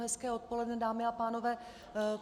Hezké odpoledne, dámy a pánové.